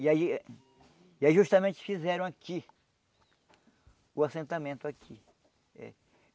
E aí e aí justamente fizeram aqui o assentamento aqui.